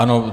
Ano.